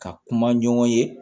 Ka kuma ɲɔgɔn ye